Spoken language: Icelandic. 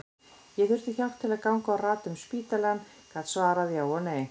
Ég þurfti hjálp til að ganga og rata um spítalann, gat svarað já eða nei.